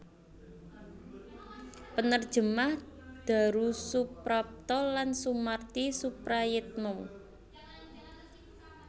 Penerjemah Darusuprapta lan Sumarti Suprayitna